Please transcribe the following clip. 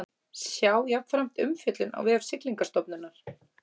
Sjá jafnframt umfjöllun á vef Siglingastofnunar